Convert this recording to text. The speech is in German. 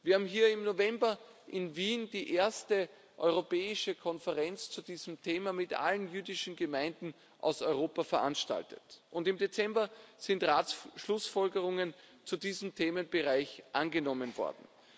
Wir haben im November in Wien die erste europäische Konferenz zu diesem Thema mit allen jüdischen Gemeinden aus Europa veranstaltet. Im Dezember sind Schlussfolgerungen des Rates zu diesem Themenbereich angenommen worden.